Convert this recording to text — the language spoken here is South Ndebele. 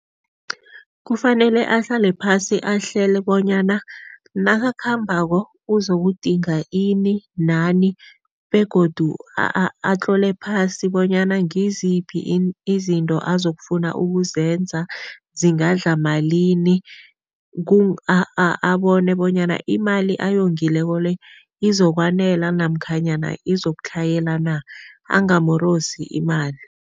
Kufanele ahlale phasi, ahlele bonyana nakakhambako uzokudinga ini nani begodu atlole phasi bonyana ngiziphi izinto azokufuna ukuzenza, zingadla malini, abone bonyana imali ayongileko le izokwanela namkhanyana izokutlhayela na, angamorosi imali.